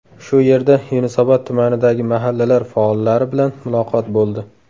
Shu yerda Yunusobod tumanidagi mahallalar faollari bilan muloqot bo‘ldi.